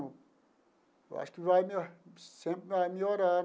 Eu acho que vai sempre vai melhorar.